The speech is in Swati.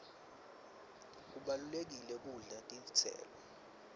kubalulekile kudla netitselo